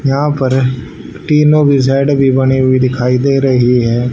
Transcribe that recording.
यहां पर तीनों की साइड भी बनी हुई दिखाई दे रही है।